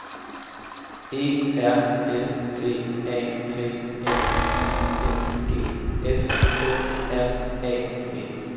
E R S T A T N I N G S K R A V